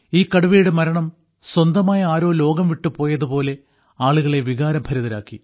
ഈ കടുവയുടെ മരണം സ്വന്തമായ ആരോ ലോകം വിട്ടുപോയതുപോലെ ആളുകളെ വികാരഭരിതരാക്കി